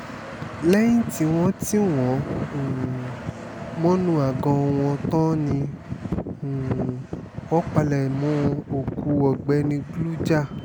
lẹ́yìn tí wọ́n tì wọ́n um mọ́nú àgọ́ wọn tán ni um wọ́n palẹ̀mọ́ òkú ọ̀gbẹ́ni glujár